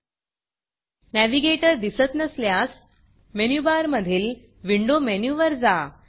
navigator दिसत नसल्यास मेनूबारमधील Windowविंडो मेनूवर जा